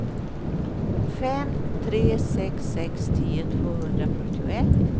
fem tre sex sex tio tvåhundrafyrtioett